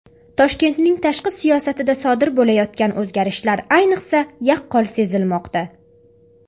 Toshkentning tashqi siyosatida sodir bo‘layotgan o‘zgarishlar ayniqsa yaqqol sezilmoqda.